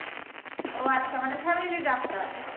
ও আচ্ছা মানে family এ ডাক্তার